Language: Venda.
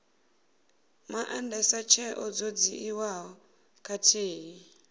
maandesa tsheo dzo dzhiiwaho khathihi